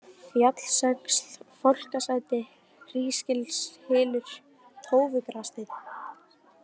Fjallsöxl, Fálkasæti, Hrísgilshylur, Tófugrassteinn